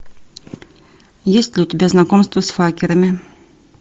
есть ли у тебя знакомство с факерами